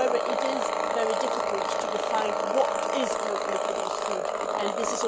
However, it is very difficult to define what locally produced food is.